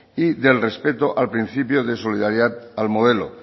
y del respeto al principio de solidaridad al modelo